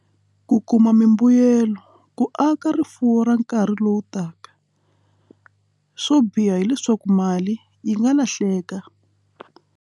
Ku kuma mimbuyelo ku aka rifuwo ra nkarhi lowu taka swo biha hileswaku mali yi nga lahleka.